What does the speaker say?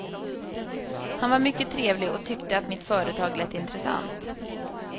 Han var mycket trevlig och tyckte att mitt företag lät intressant.